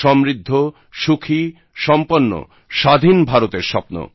সমৃদ্ধ সুখী সম্পন্ন স্বাধীন ভারতের স্বপ্ন